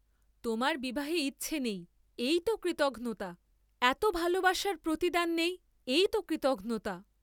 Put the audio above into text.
তোমার বিবাহে ইচ্ছা নেই, এই ত কৃতঘ্নতা, এত ভালবাসার প্রতিদান নেই এই ত কৃতঘ্নতা।